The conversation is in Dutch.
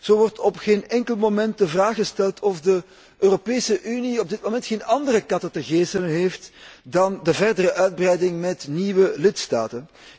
Zo wordt op geen enkel moment de vraag gesteld of de Europese Unie op dit moment geen andere katten te geselen heeft dan de verdere uitbreiding met nieuwe lidstaten?